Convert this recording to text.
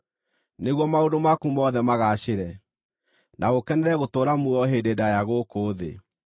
“nĩguo maũndũ maku mothe magaacĩre, na ũkenere gũtũũra muoyo hĩndĩ ndaaya gũkũ thĩ.”